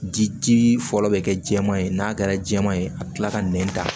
Di fɔlɔ bɛ kɛ jɛman ye n'a kɛra jɛman ye a bɛ kila ka nɛn ta